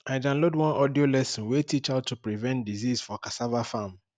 i download one audio lesson wey teach how to prevent disease for cassava farm